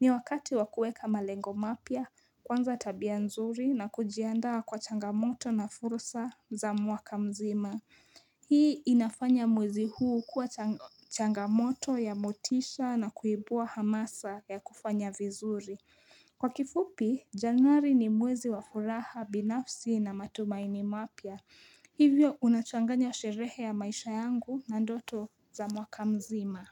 Ni wakati wakuweka malengo mapya, kuanza tabia nzuri na kujiandaa kwa changamoto na fursa za mwaka mzima. Hii inafanya mwezi huu kuwa changamoto ya motisha na kuibua hamasa ya kufanya vizuri Kwa kifupi, januari ni mwezi wa furaha binafsi na matumaini mapya Hivyo unachanganya sherehe ya maisha yangu na ndoto za mwakamzima.